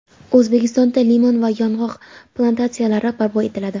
O‘zbekistonda limon va yong‘oq plantatsiyalari barpo etiladi.